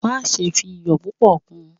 Maṣe fi iyọ pupọ kun!